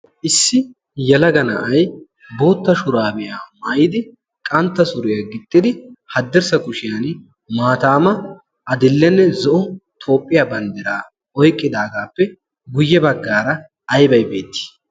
issi yalaga na'ay bootta shuraabiyaa mayidi qantta suriyaa gixxidi haddirssa kushiyan maataama adillenne zo'o toophphiyaa banddiraa oyqqidaagaappe guyye baggaara ayi bay beettii?